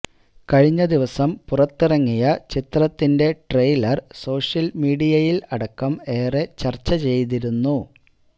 കഴിഞ്ഞ ദിവസം പുറത്തിറങ്ങിയ ചിത്രത്തിന്റെ ട്രെയിലര് സോഷ്യല് മീഡയയില് അടക്കം ഏറെ ചര്ച്ച ചെയ്തിരുന്നു